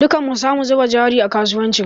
Dukkan mu sa mu zuba jari a kasuwancin